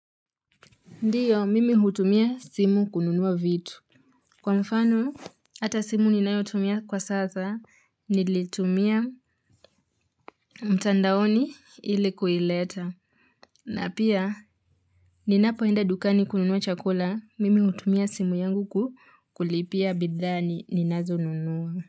Ndiyo, mimi hutumia simu kununua vitu. Kwa mfano, hata simu ninayotumia kwa sasa, nilitumia mtandaoni ili kuileta. Na pia, ninapoenda dukani kununua chakula, mimi hutumia simu yangu ku kulipia bidhaa ni ninazo nunua.